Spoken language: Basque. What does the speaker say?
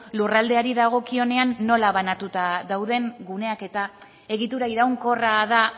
lurraldeari dagokionean nola banatuta dauden guneak eta egitura iraunkorra da